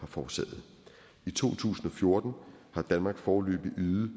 forårsaget i to tusind og fjorten har danmark foreløbig ydet